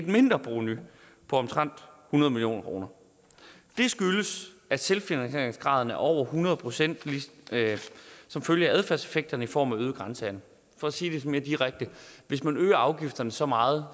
mindre provenu på omtrent hundrede million kroner det skyldes at selvfinansieringsgraden er over hundrede procent som følge af adfærdseffekter i form af øget grænsehandel for at sige det mere direkte hvis man øger afgifterne så meget